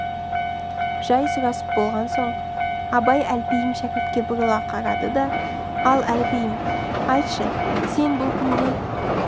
жай сұрасып болған соң абай әлпейім шәкіртке бұрыла қарады да ал әлпейім айтшы сен бұл күнде